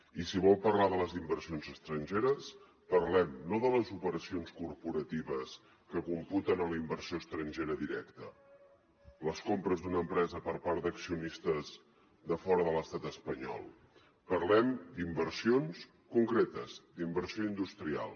i si vol parlar de les inversions estrangeres parlem ne no de les operacions corporatives que computen en la inversió estrangera directa les compres d’una empresa per part d’accionistes de fora de l’estat espanyol parlem d’inversions concretes d’inversió industrial